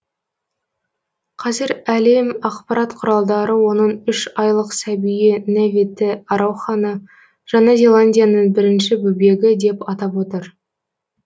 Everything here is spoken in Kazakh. қазір әлем ақпарат құралдары оның үш айлық сәбиі неве те ароханы жаңа зеландияның бірінші бөбегі деп атап отыр